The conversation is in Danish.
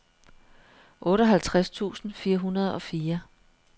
otteoghalvtreds tusind fire hundrede og fire